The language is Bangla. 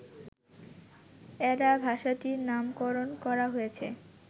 অ্যাডা ভাষাটির নামকরণ করা হয়েছে